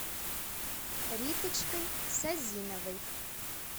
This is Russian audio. риточкой созиновой